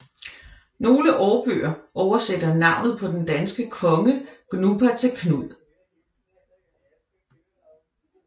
Nogle årbøger oversætter navnet på den danske konge Gnupa til Knud